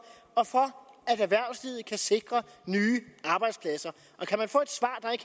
at erhvervslivet kan sikre nye arbejdspladser